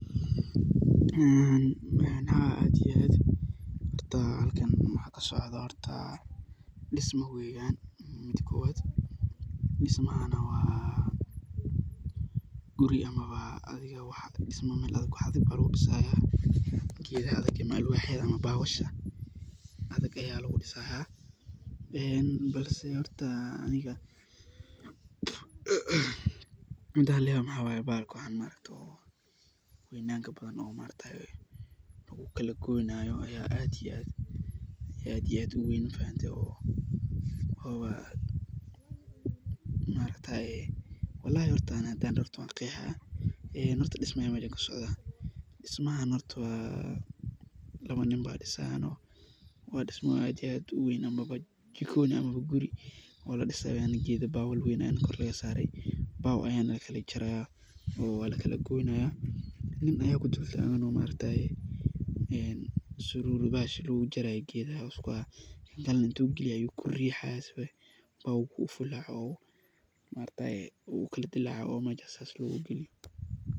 Haa aad iyo aad ,marka halkan maxa kasocda dhisma weyan mida kowaad . Dhismaha waa guri ama dhisma cadhi waxa lagu dhisaya geeda adag, alwaxyada ama bawasha adag, ee balse horta midan layawe waxa weye bahalka horta oo weynanta badan ,lagu kala goynayo ayaa aad iyo aad u weyn mafahante owaa maaragtaye. Hadi horta aan daho wanqehaya walahi dhismo ayan mejaan kasocoto ,dhismahan horto labaa nin baa dhisayan oo waa dhismo aad iyo aad u weyn ikoni ama guri ladhi sayo weyaan ,gedaa bawyo weyn ayana korka laga sare baaw ayana lakala jaraya oo waa lakala goynaya oo sururuda geedaha lagu jaraya ayu wata ,kankalena wuu ku rixaya sifaa uu bawgo u fulaco oo u kala dilaco meshaas ayu u galiye.